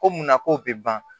Ko munna ko bɛ ban